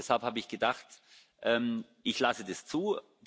Deshalb habe ich gedacht, ich lasse das zu.